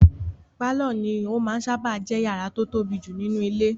Pálọ̀ ní ó máa n sáábà jẹ́ yàrá tó tóbi jù nínú ilé